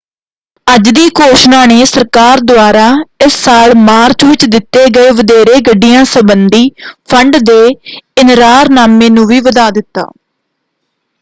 ਅੱਜ ਦੀ ਘੋਸ਼ਣਾ ਨੇ ਸਰਕਾਰ ਦੁਆਰਾ ਇਸ ਸਾਲ ਮਾਰਚ ਵਿੱਚ ਦਿੱਤੇ ਗਏ ਵਧੇਰੇ ਗੱਡੀਆਂ ਸੰਬੰਧੀ ਫੰਡ ਦੇ ਇਨਰਾਰਨਾਮੇ ਨੂੰ ਵੀ ਵਧਾ ਦਿੱਤਾ।